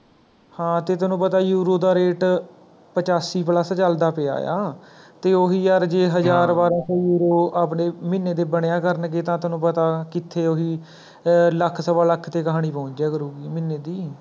ਹਾਂ ਤੇ ਤੈਨੂੰ ਪਤਾ euro ਦਾ Rate ਪਚਾਸੀ Plus ਚੱਲਦਾ ਪਿਆ ਆ, ਤੇ ਓਹੀ ਯਾਰ ਜੇ ਹਜ਼ਾਰ ਬਾਰਹ ਸੌ euro ਆਪਣੀ ਮਹੀਨੇ ਦੇ ਬਣਿਆ ਕਰਨਗੇ ਤਾਂ ਤੈਨੂਂ ਪਤਾ ਕਿੱਥੇ ਓਹਦੀ ਲੱਖ ਸਵਾ ਲੱਖ ਤੇ ਕਹਾਣੀ ਪਹੁੰਚ ਜਾਇਆ ਕਰੁਗੀ ਮਹੀਨੇ ਦੀ